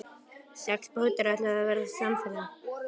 Sex bátar ætluðu að verða samferða.